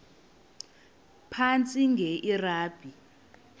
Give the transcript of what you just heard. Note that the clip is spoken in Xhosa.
phantsi enge lrabi